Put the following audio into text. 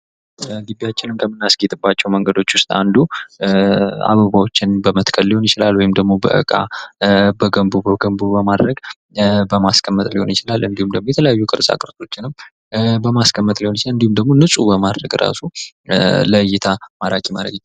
ግቢያችንን ከምናስጌ ጥባቸው መንገዶች ውስጥ አንዱ አበባዎችን በምትከል ሊሆን ይችላል ወይም ደግሞ በዕቃ በገንቦ በገንቦ በማድረግ በማስቀመጥ ሊሆን ይችላል እንዲሁም ደግሞ የተለያዩ ቅርጻ ቅርሶችንም በማስቀመጥ ሊሆን ይችላል እንዲሁም ደግሞ ንጹህ በማድረግ ለይ እይታ ማራኪ ማድረግ ይቻላል።